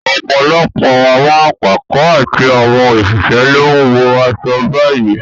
Ọ̀pọ̀lọpọ̀ àwọn akẹ́kọ̀ọ́ àti àwọn òṣìṣẹ́ ló ń wọ aṣọ báyìí